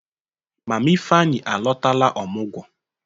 Mama Ifeanyi alọtala ọmụgwọ.